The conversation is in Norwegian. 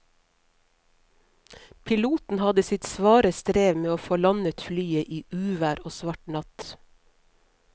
Piloten hadde sitt svare strev med å få landet flyet i uvær og svart natt.